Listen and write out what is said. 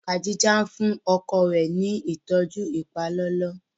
Kadija fúnni ọkọ rẹ ní ìtọjú ipalọlọ